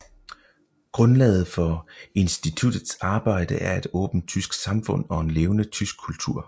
Grundlaget for instituttets arbejde er et åbent tysk samfund og en levende tysk kultur